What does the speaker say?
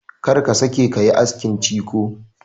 Kar ka sake ka yi askin ciko!